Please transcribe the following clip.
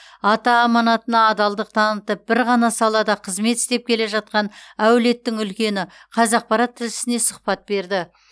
ата аманатына адалдық танытып бір ғана салада қызмет істеп келе жатқан әулеттің үлкені қазақпарат тілшісіне сұхбат берді